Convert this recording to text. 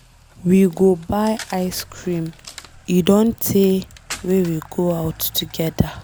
We go buy ice cream. E Don tey wey we go out together.